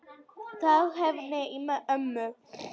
Það hvein í ömmu.